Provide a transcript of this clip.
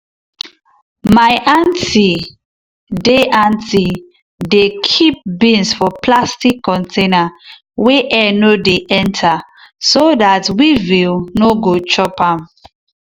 my aunty dey aunty dey keep beans for plastic container wey air no dey enter so dat weevil no go chop am.